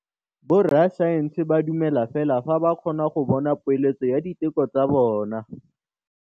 Borra saense ba dumela fela fa ba kgonne go bona poeletsô ya diteko tsa bone.